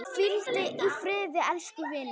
Hvíldu í friði elsku vinur.